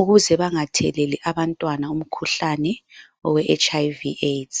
ukuze bangatheleli abantwana umkhuhlani, owe HIV/AIDS.